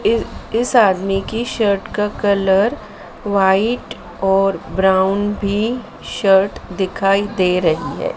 इ इस आदमी के शर्ट का कलर व्हाइट और ब्राउन भी शर्ट दिखाई दे रही है।